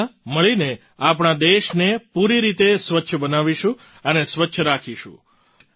આપણે બધાં મળીને આપણા દેશને પૂરી રીતે સ્વચ્છ બનાવીશું અને સ્વચ્છ રાખીશું